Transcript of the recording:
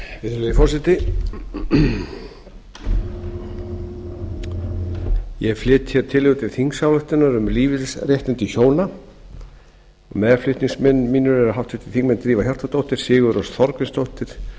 virðulegi forseti ég flyt hér tillögu til þingsályktunar um lífeyrisréttindi hjóna meðflutningsmenn mínir eru háttvirtir þingmenn drífa hjartardóttir sigurrós þorgrímsdóttir